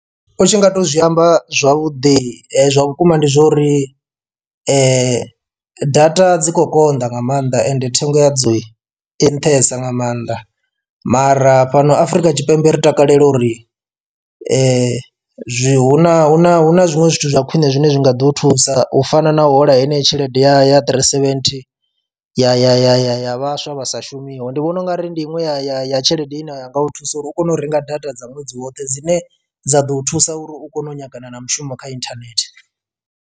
U tshi nga to zwi amba zwavhuḓi zwa vhukuma ndi zwa uri data dzi khou konḓa nga maanḓa ende thengo ya dzo i nṱhesa nga maanḓa mara fhano Afurika Tshipembe ri takalela uri zwi huna hu na hu na zwiṅwe zwithu zwa khwine zwine zwi nga ḓo u thusa u fana na u hola heneyo tshelede ya ya three seventhi ya ya ya ya ya vhaswa vha sa shumiho. Ndi vhona ungari ndi inwe ya ya ya tshelede ine ya nga u thusa uri u kone u renga data dza ṅwedzi woṱhe dzine dza ḓo thusa uri u kone u nyagana na mushumo kha inthanethe.